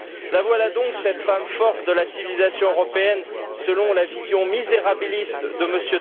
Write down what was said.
La voilà donc cette femme forte de la civilisation européenne, selon la vision misérabiliste de M.